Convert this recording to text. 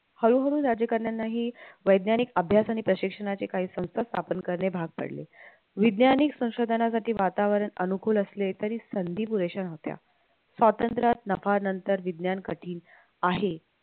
हळूहळू राज्यकारणारांनाही वैज्ञानिक अभ्यास आणि प्रशिक्षणाचे काही संस्था स्थापन करणे भाग पडले वैज्ञानिक संशोधनासाठी वातावरण अनुकूल असले तरी संधी पुरेश्या नव्हत्या स्वातंत्र्यात नफानंतर विज्ञान कठीण आहे